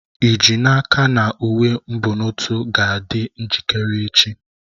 Ị ji n'aka na uwe mbonotu ga-adị njikere echi?